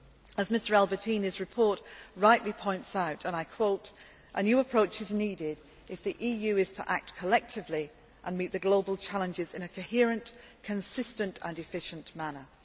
As Mr Albertini's report rightly points out, a new approach is needed if the EU is to act collectively and meet the global challenges in a coherent, consistent and efficient manner'.